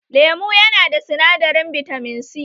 Lemu yana da sinadarin bitamin C